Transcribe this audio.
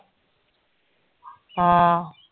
ਹਾਂ।